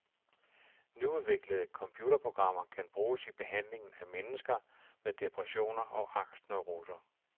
Nyudviklede computerprogrammer kan bruges i behandlingen af mennesker med depressioner og angstneuroser.